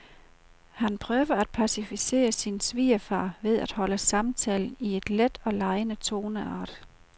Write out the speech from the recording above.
Han prøver at pacificere sin svigerfar ved at holde samtalen i en let og legende toneart.